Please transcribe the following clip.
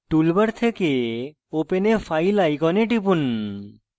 toolbar থেকে open a file icon টিপুন